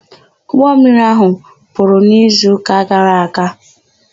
Ụgbọmmiri áhụ̀ kpuru n'izuụka gara aga.